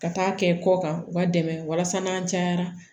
Ka taa kɛ kɔ kan u b'a dɛmɛ walasa n'an cayara